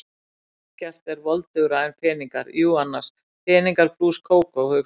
Ekkert er voldugra en peningar, jú annars, peningar plús Kókó, hugsaði ég.